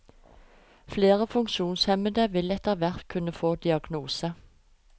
Flere funksjonshemmede vil etterhvert kunne få diagnose.